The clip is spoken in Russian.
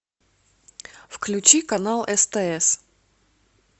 включи канал стс